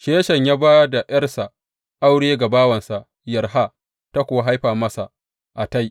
Sheshan ya ba da ’yarsa aure ga bawansa Yarha, ta kuwa haifa masa Attai.